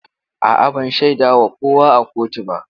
A'a, ban shaida wa kowa a kotu ba.